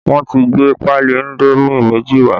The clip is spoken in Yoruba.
Wọn ti gbé pali indomi méjì wá